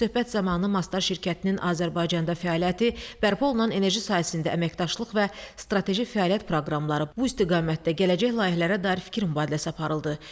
Söhbət zamanı Mastar şirkətinin Azərbaycanda fəaliyyəti, bərpa olunan enerji sahəsində əməkdaşlıq və strateji fəaliyyət proqramları, bu istiqamətdə gələcək layihələrə dair fikir mübadiləsi aparıldı.